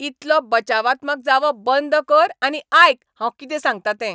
इतलो बचावात्मक जावप बंद कर आनी आयक हांव कितें सांगतां तें.